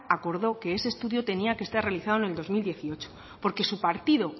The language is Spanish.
acordó que ese estudio tenía que estar realizado en el dos mil dieciocho porque su partido